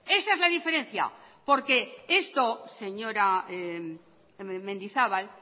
esa es la diferencia porque esto señora mendizabal